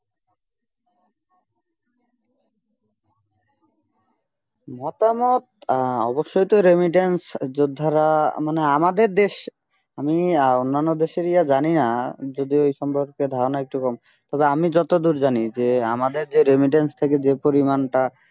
মতামত আহ অবশ্যই তো remittance যোদ্ধারা মানে আমাদের দেশ আমি অন্যান্য দেশের ইয়ে জানিনা যদি সম্পর্কে ধারণ একটু কম তবে আমি যতদূর জানি যে আমাদের যে remittance থেকে যে পরিমাণটা